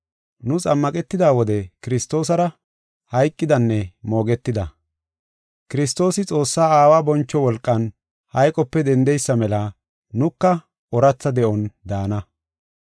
Nu xammaqetida wode Kiristoosara hayqidanne moogetida. Kiristoosi Xoossaa Aawa boncho wolqan hayqope dendidaysa mela nuka ooratha de7on daana.